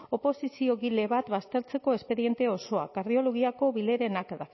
oposiziogile bat baztertzeko espediente osoa kardiologiako bileren aktak